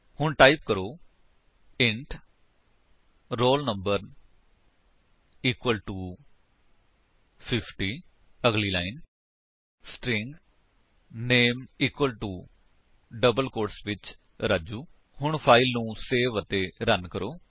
ਹੁਣ ਟਾਈਪ ਕਰੋ int roll no equal to 50 ਅਗਲੀ line string name equal to double quotes ਵਿੱਚ ਰਾਜੂ ਹੁਣ ਫਾਇਲ ਨੂੰ ਸੇਵ ਅਤੇ ਰਨ ਕਰੋ